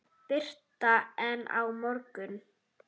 Birta: En á morgun?